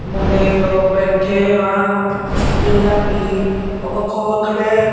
ਮੁੰਡੇ ਖਲੋ ਬੈਠੇ ਹਨ ਜਿੰਨਾ ਕੀ ਉਹ ਵੱਖੋ ਵੱਖਰੇ--